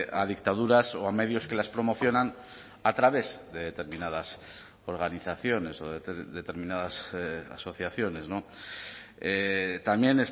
a dictaduras o a medios que las promocionan a través de determinadas organizaciones o determinadas asociaciones también